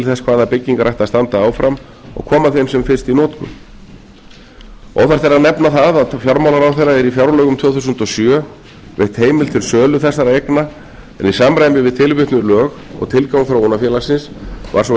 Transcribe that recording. þess hvaða byggingar ættu að standa áfram og koma þeim sem fyrst í notkun óþarft er að nefna að fjármálaráðherra er í fjárlögum tvö þúsund og sjö veitt heimild til sölu þessara eigna en í samræmi við tilvitnuð lög og tilgang þróunarfélagsins var sú